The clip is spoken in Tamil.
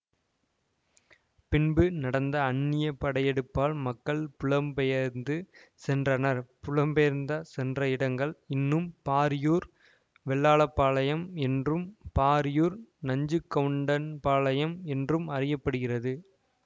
பின்பு நடந்த அந்நிய படையெடுப்பால் மக்கள் புலம்பெயர்ந்து சென்றனர் புலம்பெயர்ந்து சென்ற இடங்கள் இன்றும் பாரியூர் வெள்ளாளபாளையம் என்றும் பரியூர் நஞ்சகவுண்டன்பாளையம் என்றும் அறிய படுகிறது